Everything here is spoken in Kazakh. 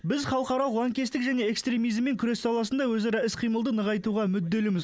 біз халықаралық лаңкестік және экстремизммен күрес саласында өзара іс қимылды нығайтуға мүдделіміз